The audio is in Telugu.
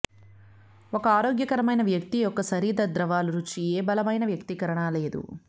ఒక ఆరోగ్యకరమైన వ్యక్తి యొక్క శరీర ద్రవాలు రుచి ఏ బలమైన వ్యక్తీకరణ లేదు